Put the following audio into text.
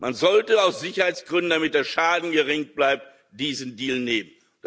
Man sollte aus Sicherheitsgründen, damit der Schaden gering bleibt, diesen Deal nehmen.